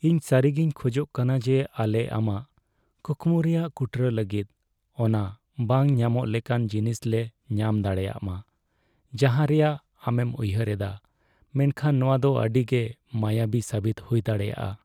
ᱤᱧ ᱥᱟᱹᱨᱤᱜᱮᱧ ᱠᱷᱳᱡᱚᱜ ᱠᱟᱱᱟ ᱡᱮ ᱟᱞᱮ ᱟᱢᱟᱜ ᱠᱩᱠᱢᱩ ᱨᱮᱭᱟᱜ ᱠᱩᱴᱨᱟᱹ ᱞᱟᱹᱜᱤᱫ ᱚᱱᱟ ᱵᱟᱝ ᱧᱟᱢᱚᱜ ᱞᱮᱠᱟᱱ ᱡᱤᱱᱤᱥ ᱞᱮ ᱧᱟᱢ ᱫᱟᱲᱮᱭᱟᱜ ᱢᱟ ᱡᱟᱦᱟᱸ ᱨᱮᱭᱟᱜ ᱟᱢᱮᱢ ᱩᱭᱦᱟᱹᱨ ᱮᱫᱟ ᱢᱮᱱᱠᱷᱟᱱ ᱱᱚᱣᱟ ᱫᱚ ᱟᱹᱰᱤᱜᱮ ᱢᱟᱭᱟᱵᱤ ᱥᱟᱹᱵᱤᱫ ᱦᱩᱭ ᱫᱟᱲᱮᱭᱟᱜᱼᱟ ᱾